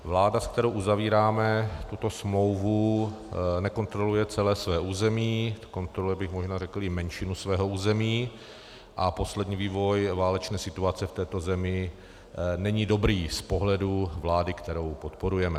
Vláda, s kterou uzavíráme tuto smlouvu, nekontroluje celé své území, kontroluje bych možná řekl i menšinu svého území, a poslední vývoj válečné situace v této zemi není dobrý z pohledu vlády, kterou podporujeme.